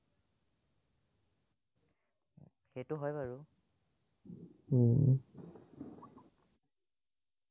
সেটো হয় বাৰু